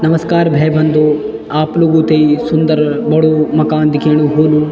नमस्कार भै-बंधू आप लोगूं थे यी सुन्दर बडू मकान दिख्येणू होलूं।